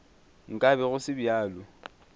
nka be go se bjalo